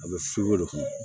A bɛ fin o de kɔnɔ